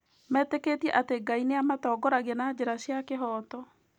Metĩkĩtie atĩ Ngai nĩ amatongoragia na njĩra cia kĩhooto.